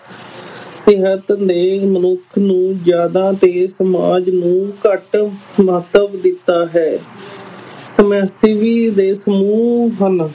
ਨੇ ਮਨੁੱਖ ਨੂੰ ਜ਼ਿਆਦਾ ਤੇ ਸਮਾਜ ਨੂੰ ਘੱਟ ਮਹੱਤਵ ਦਿੱਤਾ ਹੈ ਦੇ ਸਮੂਹ ਹਨ,